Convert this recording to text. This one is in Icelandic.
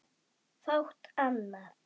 Fátt annað.